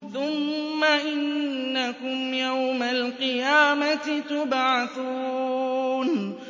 ثُمَّ إِنَّكُمْ يَوْمَ الْقِيَامَةِ تُبْعَثُونَ